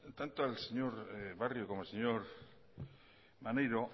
tanto al señor barrio como al señor maneiro